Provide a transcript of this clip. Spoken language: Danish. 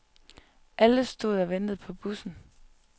Alle stod og ventede på bussen.